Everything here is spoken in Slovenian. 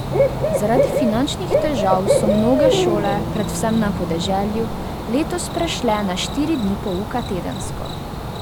Zaradi finančnih težav so mnoge šole, predvsem na podeželju, letos prešle na štiri dni pouka tedensko.